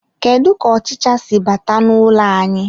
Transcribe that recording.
Kedu ka ọchịcha si bata n'ụlọ anyị.